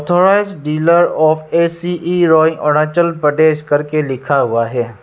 Authorised dealer of A C E rowing Arunachal Pradesh करके लिखा हुआ है।